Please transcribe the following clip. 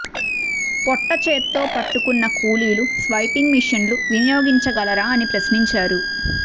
పొట్ట చేత్తో పట్టుకున్న కూలీలు స్వైపింగ్ మిషన్లు వినియోగించగలరా అని ప్రశ్నించారు